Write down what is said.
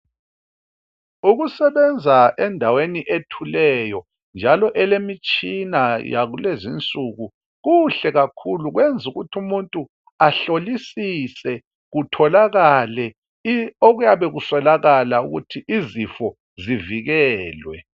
ngokusebenza endaweni ethuleyo njalo okulemitshina yakulezi nsuku kuhle kakhulu kwenza ukuthi umuntu ahlolisise kutholakale okuyabe kuswelakala ukuthi izifo zivikelwe